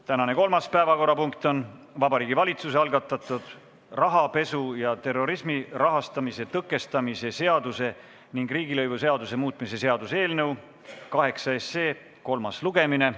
Tänane kolmas päevakorrapunkt on Vabariigi Valitsuse algatatud rahapesu ja terrorismi rahastamise tõkestamise seaduse ning riigilõivuseaduse muutmise seaduse eelnõu 8 kolmas lugemine.